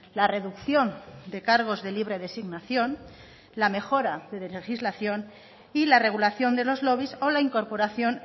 la reducción de cargos de libre designación la mejora de legislación y la regulación de los lobbies o la incorporación